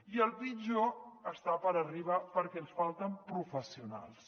i el pitjor està per arribar perquè ens falten professionals